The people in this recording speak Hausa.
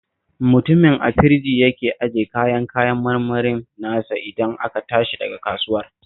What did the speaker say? Mutumin a firji yake ajiye kayan kayan marmarin nasa idan aka tashi daga kasuwar